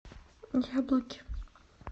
яблоки